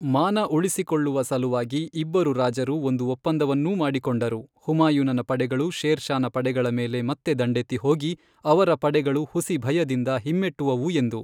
ಮಾನ ಉಳಿಸಿಕೊಳ್ಳುವ ಸಲುವಾಗಿ ಇಬ್ಬರು ರಾಜರು ಒಂದು ಒಪ್ಪಂದವನ್ನೂ ಮಾಡಿಕೊಂಡರು ಹುಮಾಯೂನನ ಪಡೆಗಳು ಶೇರ್ ಷಾನ ಪಡೆಗಳ ಮೇಲೆ ಮತ್ತೆ ದಂಡೆತ್ತಿ ಹೋಗಿ, ಅವರ ಪಡೆಗಳು ಹುಸಿ ಭಯದಿಂದ ಹಿಮ್ಮೆಟ್ಟುವವು ಎಂದು.